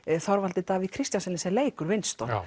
Þorvaldi Davíð Kristjánssyni sem leikur